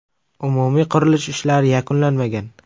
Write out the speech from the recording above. Umumiy qurilish ishlari yakunlanmagan.